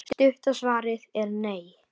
Stutta svarið er: nei.